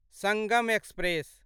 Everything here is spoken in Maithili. संगम एक्सप्रेस